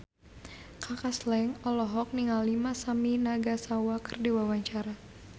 Kaka Slank olohok ningali Masami Nagasawa keur diwawancara